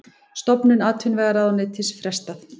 Stofnun atvinnuvegaráðuneytis frestað